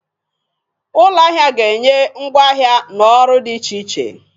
Ụlọ ahịa ga-enye ngwa ahịa na ọrụ dị iche iche.